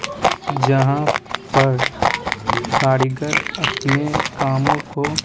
जहाँ पर कारीगर अपने कामो को--